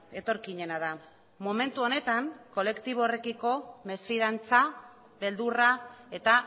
etorkinena da momentu honetan kolektibo horrekiko mesfidantza beldurra eta